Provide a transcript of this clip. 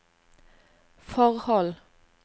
forhold